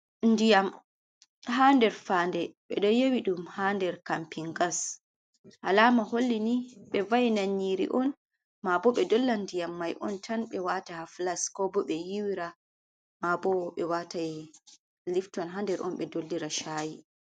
Ndiyam haa nder faande, ɓe don yewi ɗum haa nder kampin gas. Alama holli ni, be va'ini nyiri on maa bo ɓe dollan ndiyam mai on tan ɓe waata ha flas, ko bo ɓe yiiwira, maabo ɓe watai lifton haa nder on ɓe dollira shaayi.